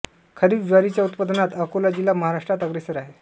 खरीप ज्वारीच्या उत्पादनात अकोला जिल्हा महाराष्ट्रात अग्रेसर आहे